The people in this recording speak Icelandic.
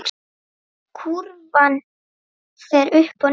Kúrfan fer upp og niður.